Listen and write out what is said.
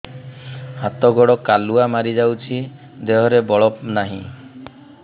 ହାତ ଗୋଡ଼ କାଲୁଆ ମାରି ଯାଉଛି ଦେହରେ ବଳ ନାହିଁ